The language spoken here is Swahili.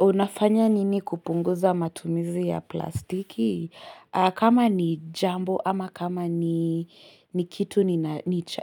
Unafanya nini kupunguza matumizi ya plastiki? Kama ni jambo ama kama ni kitu